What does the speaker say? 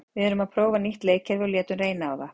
Við erum að prófa nýtt leikkerfi og létum reyna á það.